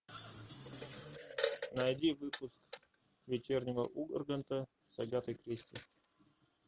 найди выпуск вечернего урганта с агатой кристи